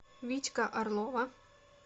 витька орлова